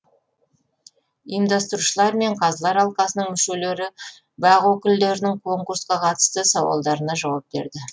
ұйымдастырушылар мен қазылар алқасының мүшелері бақ өкілдерінің конкурсқа қатысты сауалдарына жауап берді